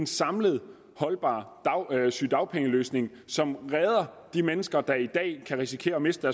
samlet holdbar sygedagpengeløsning som redder de mennesker der i dag kan risikere at miste